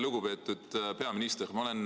Lugupeetud peaminister!